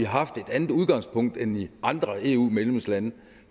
haft et andet udgangspunkt end i andre eu medlemslande